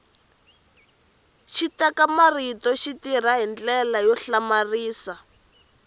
xiteka marito xi tirha hi ndlela yo hlamarisa